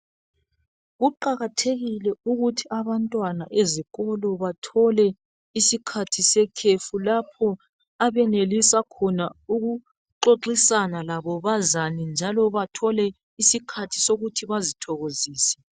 Kuqakathekile ukuthi abantwana bezikolo bathole isikhathi sekhefu lapho abanelisa khona ukuxoxisana labo bazane njalo bathole isikhathi sokuthi bazithokozise